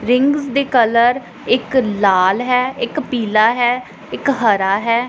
Ring ਦੇ colour ਇੱਕ ਲਾਲ ਹੈ ਇੱਕ ਪੀਲਾ ਹੈ ਇੱਕ ਹਰਾ ਹੈ।